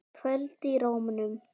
Kvöl í rómnum.